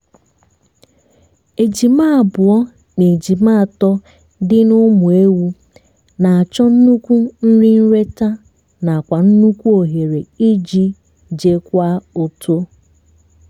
ejima abụọ na ejima atọ dị ná ụmụ ewu na-achọ nnukwu nrinleta nakwa nnukwu ohere iji jekwa uto